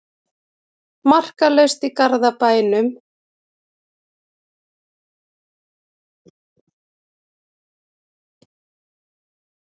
Markalaust í Garðabænum